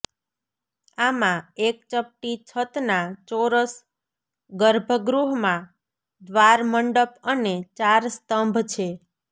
આમાં એક ચપટી છત ના ચોરસ ગર્ભગૃહ માં દ્વાર મંડપ અને ચાર સ્તંભ છે